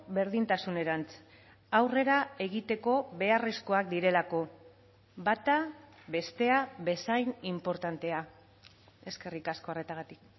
berdintasunerantz aurrera egiteko beharrezkoak direlako bata bestea bezain inportantea eskerrik asko arretagatik